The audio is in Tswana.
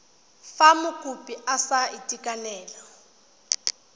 fa mokopi a sa itekanela